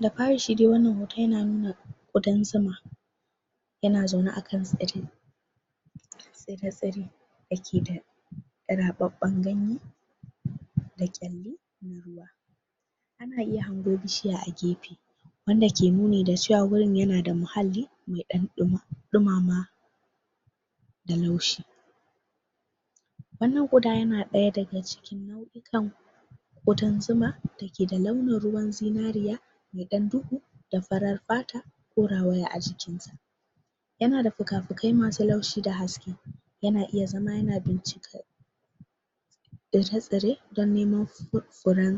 da fari shi dai wannan hoton yana nuna ƙudan zuma yana zaune akan tsire tsire dakeda raɓaɓan ganye da kyale ana iya hango bishiya a gefe wanda ka nuni da cewa gurin yanada muhalli me ɗan ɗumama da laushi wanan ƙuda yana ɗaya daga cikin nau ikan ƙudan zuma dake keda launin ruwan zinariya meɗan duhu da farar fata ko rawaya ajiki yanada fuka fukai masu laushi da haske yana iya zama yana binkcika tsira tsire dan neman furan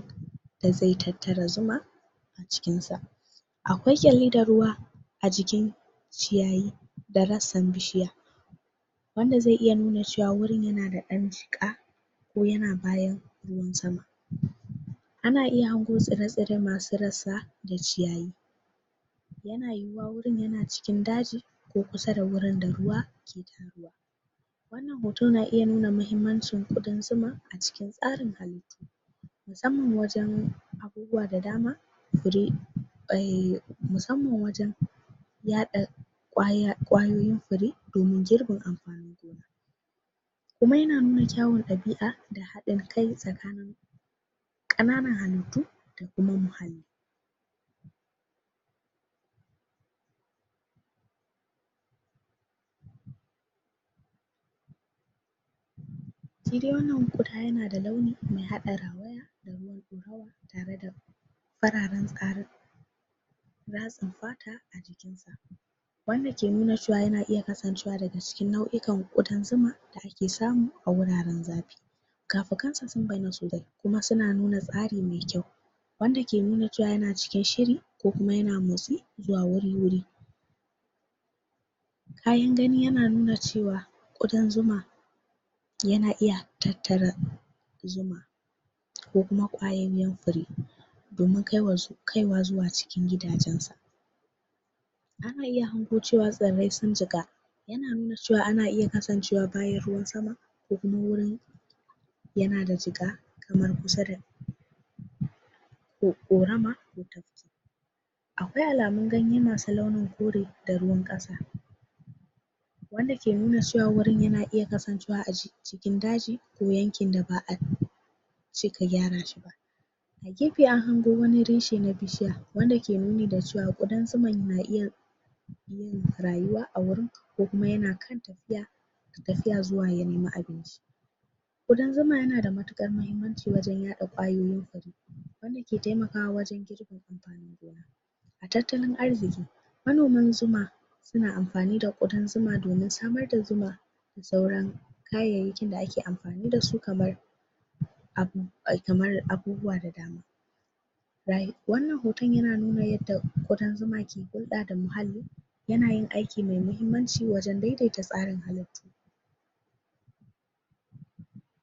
da ze tattara zuma cikin sa akwai kyalli da ruwa ajikin ci yayi da rassan bishiya wanda ze nuna cewa gurin yanda ɗan jiƙa ko yana bayan ruwan sama ana iya hago tsire tsire masu rassa da ci yayi yana yuwuwa gurun yana cikin daji ko kusa da gurin da ruwa hoto na iya nuna mahimmancin ƙudan zuma cikin tsarin musamman wajan abubuwa da dama fure? mu samman wajan yaɗa ƙwayoyin fure damun girbin amfanin kuma yana nuna kyawan dabi a da haɗin kai tsakani ƙananan halittu da kuma shidai wannan kuda yana da launi me haɗa rawaya da ruwan ɗaurawa tare da fararan tsarii ratsin fa wanda ke nuna cewa yana iya kasancewa daga cikin dau ikan ƙudan zuma ke samu aguraran zafi fika fikansa sun baiyana kuma suna nuna tsari me kyau wanda ke nuna cewa yana cikin shiri ko kuma yana motsi zuwa wuri wuri kayan gani ya nuna cewa ƙudan zuma yana iya tattara zuma ko kuma kwayaiyen fure domin kaiwa zuwa cikin gidajansa ana iya hago cewa tsirre sun cika yana nuna cewa ana iya kasancewa bayan ruwan sama ko kuma wurin yanada jiƙa kamar kusa da ƙorama akwai alamun ganye masu launin kore da ruwan ƙasa wanda ke nuna cewa wurun na iya kasancewa a cikin daji ko yanki da ba a cika gyara shi gefe an hango wani rashe na bishiya wanda ke nuni da cewa ƙudan zuma na iya rayuwa a gurun ko kuma yana kan tafiya tafiya zuwa ya nemi ƙudan zuma yanada matukar mahimmanci wajan yaɗa ƙwayoyin fure wanda ke temakawa wajan tattalin arziki manoman zuma suna amfani da ɗ ƙudan zuma domin samar da zuma da suran kayaiyakin da ake amfani dasu kaman abu kamar abubuwa da dama wannan hoton yana nuna yadda ƙudan zuma ke huɗa da muhalli yanayin aiki me mahimmanci wajan daidaita tsarin halitta